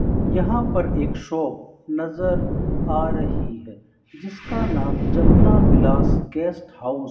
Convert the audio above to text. यहाँ पर एक शॉप नजर आ रहीं हैं जिसका नाम जमना विलास गेस्ट हाउस --